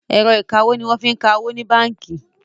Ẹ̀rọ ìkawó ní wọ́n fí ń ka owó ní bánkì.